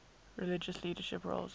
religious leadership roles